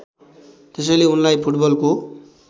त्यसैले उनलाई फुटबलको